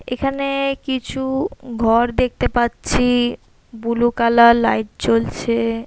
এখানে-এ কিছু-উ ঘর দেখতে পাচ্ছি বুলু কালার লাইট জ্বলছে ।